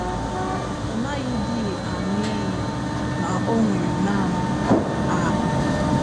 Ọ naghịdị aṅụ iyi, na ọ nwere naanị ‘A.